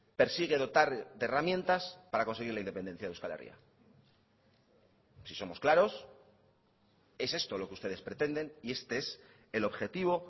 persigue dotar de herramientas para conseguir la independencia de euskal herria si somos claros es esto lo que ustedes pretenden y este es el objetivo